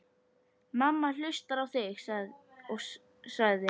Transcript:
Mamma hlustar á þig, sagði